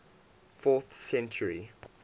fourth century